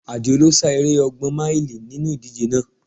Adio lo sá eré ọgbọn máílì nínú ìdíje náà